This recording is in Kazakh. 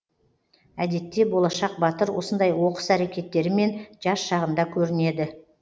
әдетте болашақ батыр осындай оқыс әрекеттерімен жас шағында көрінеді